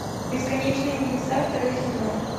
бесконечные небеса второй сезон